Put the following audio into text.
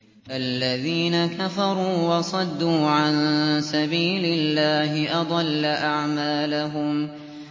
الَّذِينَ كَفَرُوا وَصَدُّوا عَن سَبِيلِ اللَّهِ أَضَلَّ أَعْمَالَهُمْ